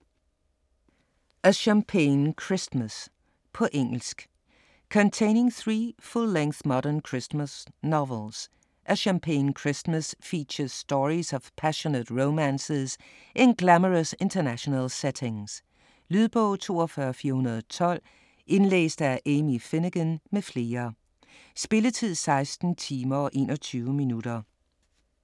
A champagne Christmas På engelsk. Containing three full-length modern Christmas novels, 'A Champagne Christmas' features stories of passionate romances in glamorous international settings. Lydbog 42412 Indlæst af Amy Finegan m.fl Spilletid: 16 timer, 21 minutter.